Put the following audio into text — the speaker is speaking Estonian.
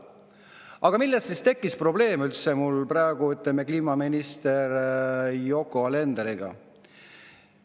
Aga millest siis üldse tekkis mul probleem kliimaminister Yoko Alenderiga?